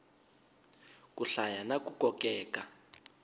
ku hlaya na ku kokeka